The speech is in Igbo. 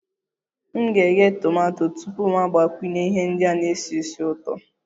M ga-eghe tomato tupu mụ agbakwunye ihe ndị na-esi ísì ụtọ